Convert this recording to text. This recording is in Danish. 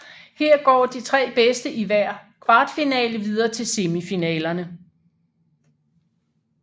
Her går de tre bedste i hver kvartfinale videre til semifinalerne